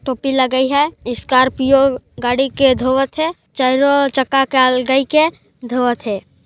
टोपी लगाई है स्कार्पिओ गाड़ी के धोवत है चक्का ल अलगइक हे धोवत हे।